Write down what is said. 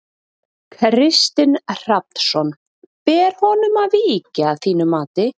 Kristinn Hrafnsson: Ber honum að víkja að þínu mati?